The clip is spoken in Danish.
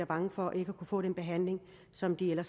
bange for ikke at kunne få den behandling som de